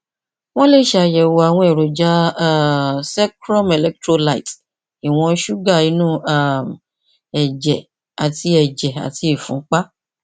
wọn lè ṣàyẹwò àwọn èròjà um secrum electrolytes ìwọn ṣúgà inú um ẹjẹ àti ẹjẹ àti ìfúnpá